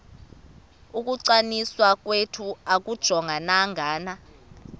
ukungcwaliswa kwethu akujongananga